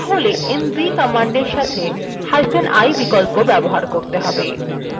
তাহলে mv command সাথেi বিকল্প ব্যবহার করতে হবে